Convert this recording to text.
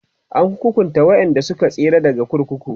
an hukunta waƴanda Suka so tsira daga kurkuku